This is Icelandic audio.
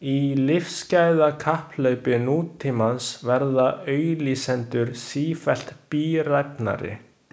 Í lífsgæðakapphlaupi nútímans verða auglýsendur sífellt bíræfnari.